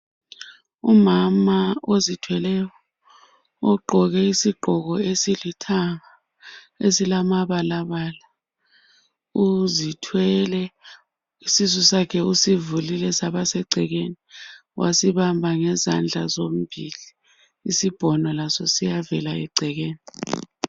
Umama ozithweleyo ogqoke isigqoke esilithanga esilamabalabala uzithwele isisu sakhe usivulile saba sengcekeni wasibamba ngezandla zombili isibhono Laso siyavela engcekeni